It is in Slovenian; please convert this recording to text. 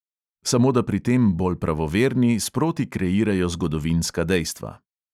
Samo da pri tem bolj pravoverni sproti kreirajo zgodovinska dejstva.